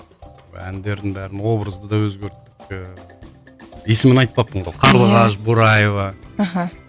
әндердің бәрін образды да өзгерттік те есімін айтпаппын ғой қарлығаш бораева мхм